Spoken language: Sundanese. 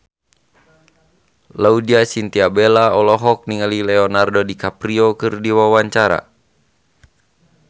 Laudya Chintya Bella olohok ningali Leonardo DiCaprio keur diwawancara